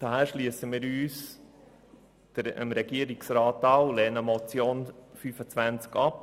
Daher schliessen wir uns dem Regierungsrat an und lehnen die Motion Schwaar ab.